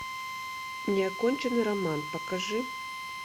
неоконченный роман покажи